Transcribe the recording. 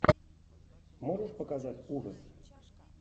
можешь показать ужасы